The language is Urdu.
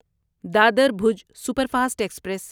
Dadar Bhuj superfast express